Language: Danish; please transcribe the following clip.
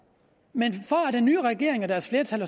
men for at den nye regering og deres flertal